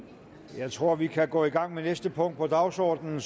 jeg tror vi kan gå i gang med næste punkt på dagsordenen